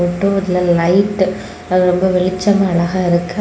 இன்டோர்ல light அது ரொம்ப வெளிச்சமா அழகா இருக்கு.